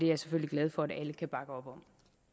jeg selvfølgelig glad for at alle kan bakke op om